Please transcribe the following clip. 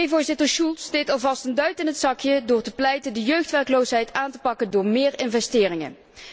Voorzitter Schulz deed alvast een duit in het zakje door te pleiten de jeugdwerkloosheid aan te pakken door meer investeringen.